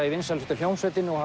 í vinsælustu hljómsveitinni og